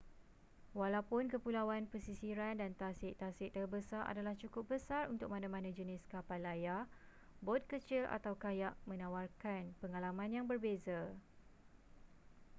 walaupun kepulauan pesisiran dan tasik-tasik terbesar adalah cukup besar untuk mana-mana jenis kapal layar bot kecil atau kayak menawarkan pengalaman yang berbeza